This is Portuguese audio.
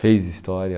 Fez história.